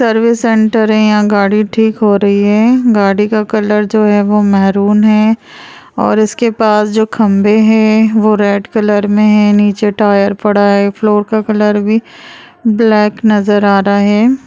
Service centre हैं यहाँ गाड़ी ठीक हो रही है गाड़ी का कलर जो है वो मैरून हैं और उसके पास जो खंबे हैं वो रेड कलर में हैं नीचे टायर पड़ा है फ्लोर का कलर भी ब्लैक नजर आ रहा है।